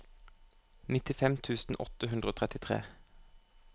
nittifem tusen åtte hundre og trettitre